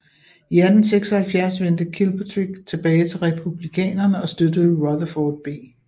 I 1876 vendte Kilpatrick tilbage til Republikanerne og støttede Rutherford B